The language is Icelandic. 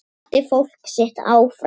Hvatti fólkið sitt áfram.